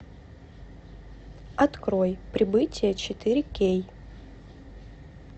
открой прибытие четыре кей